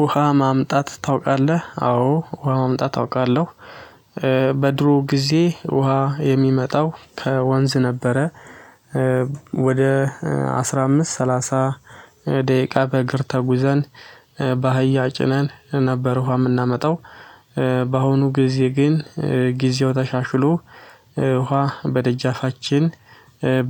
ውሃ ማምጣት ታውቃለህ? አዎ ውሃ ማምጣት አውቃለሁ በድሮ ጊዜ ውሃ የሚመጣው ከወንዝ ነበረ ወደ አስራ አምስት ሰላሳ ደቂቃ በእግር ተጉዘን በአህያ ጭነን ነበር ውሃ የምናመጣው በአሁኑ ጊዜ ግን ጊዜው ተሻሽሎ ውሃ በደጃፋችን